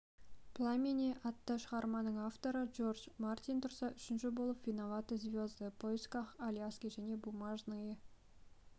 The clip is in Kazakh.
пламени атты шығарманың авторы джордж мартин тұрса үшінші болып виноваты звезды поисках аляски және бумажные